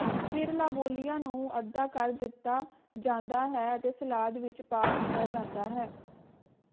ਫਿਰ ਲਾਬੂਲੀਆਂ ਨੂੰ ਅੱਧਾ ਕਰ ਦਿੱਤਾ ਜਾਂਦਾ ਹੈ ਅਤੇ ਸਲਾਦ ਵਿਚ ਪਾ ਦਿੱਤਾ ਜਾਂਦਾ ਹੈ